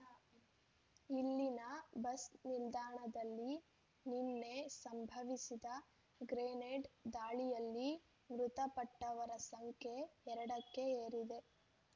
ಇಲ್ಲಿನ ಬಸ್ ನಿಲ್ದಾಣದಲ್ಲಿ ನಿನ್ನೆ ಸಂಭವಿಸಿದ ಗ್ರೆನೇಡ್ ದಾಳಿಯಲ್ಲಿ ಮೃತಪಟ್ಟವರ ಸಂಖ್ಯೆ ಎರಡಕ್ಕೆ ಏರಿದೆ